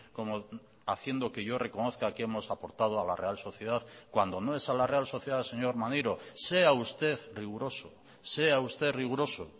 como haciendo que yo reconozca que hemos aportado a la real sociedad cuando no es a la real sociedad señor maneiro sea usted riguroso sea usted riguroso